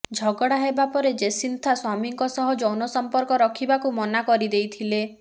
ଝଗଡା ହେବା ପରେ ଜେସିନ୍ଥା ସ୍ବାମୀଙ୍କ ସହ ଯୌନ ସଂପର୍କ ରଖିବାକୁ ମନାକରିଦେଇଥିଲେ